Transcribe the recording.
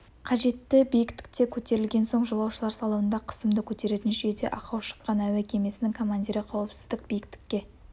қажетті биіктікке көтерілген соң жолаушылар салонында қысымды көтеретін жүйеде ақау шыққан әуе кемесінің командирі қауіпсіздік биіктікке